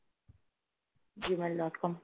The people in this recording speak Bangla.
gmail dot com